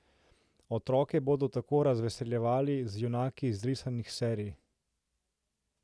Otroke bodo tako razveseljevali z junaki iz risanih serij.